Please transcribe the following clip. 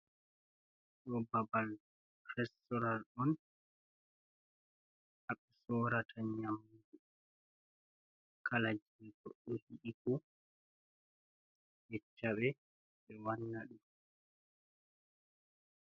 Ɗo babal restoran on, ha ɓe sorata nyamdu kala jei goɗɗo yiɗi fu, yecca ɓe, ɓe wanna ɗum.